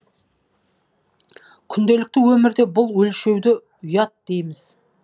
күнделікті өмірде бұл өлшеуді ұят дейміз